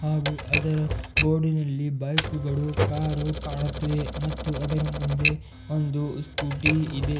ಹಾಗು ಅದರ ಬೋರ್ಡಿನಲ್ಲಿ ಬೈಕ್ ಗಳು ಕಾರು ಕಾಣುತ್ತಿದೆ ಮತ್ತು ಅದರ ಮುಂದೆ ಒಂದು ಸ್ಕೂಟಿ ಇದೆ.